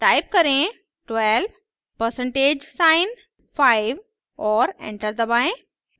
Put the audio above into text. type करें 12 percentage sign 5 और enter दबाएं